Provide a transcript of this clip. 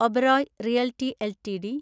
Oberoi realty LTD